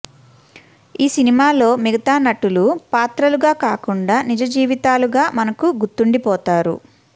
ఈ సినిమాలో మిగితా నటులు పాత్రలుగా కాకుండా నిజజీవితాలుగా మనకు గుర్తుండిపోతారు